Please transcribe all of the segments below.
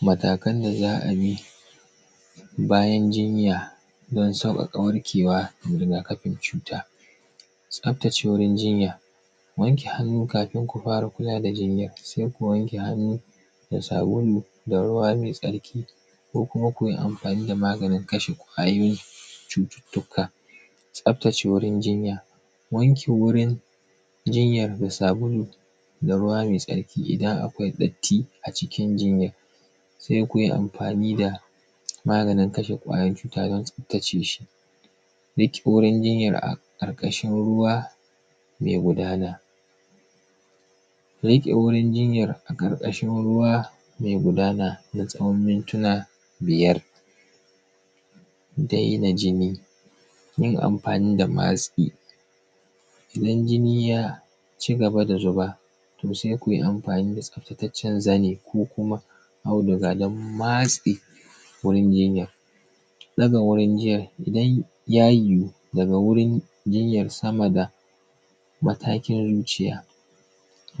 matakan da zaˀabi, bayan jinya Don sauƙaƙa warkewa ga riga kafin cuta. Tsaftace wurin jinya, wanke hannu kafin kufara kula da jinyar. Se: ku wanke hannu, da sabulu da ruwa mai tsarki. Ko kuma ku amfani da maganin kashe kwayoyin cuttuttuka. Tsaftace wurin jinya wake wurin jinyar da sabulu da ruwa mai tsarki. Idan akwai datti acikin jinyar, se kuji amfani da maganin kashe kwayan cuta don tsaftace shi. Bit wurin jinyar a ƙarƙashin ruwa, me gudana. Da yanke: wurin jinyar a ƙarƙashin ruwa, me gudana na tsawon mintina biyar. Dai na jini, jin amfani da masƙi. Idan jini yaaci gaba da zuba, to sai kuyi amfani da tsaftataccen zani, ko kuma audiga dan matse wurin jinyar Ɗaga wurin jiyar, idan yajiwu daga wurin jinyar samada matakin zuciya.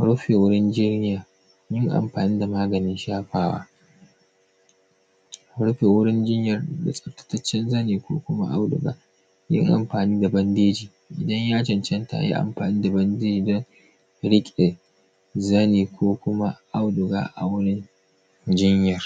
Rufe wurin jinyar, yi amfani da maganin shafawa. Rufe wurin jinyar da tsaftataccen zani ko kuma auduga. Ku yi amfani da bandeji, idan ya ʦanʦanta ayi amfani da bandebin. Riƙe zani ko ku kuma auduga a wurin jinyar.